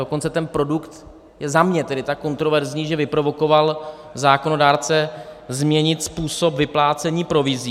Dokonce ten produkt je za mě tedy tak kontroverzní, že vyprovokoval zákonodárce změnit způsob vyplácení provizí.